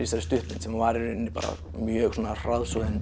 þessari stuttmynd sem var í rauninni mjög svona hraðsoðin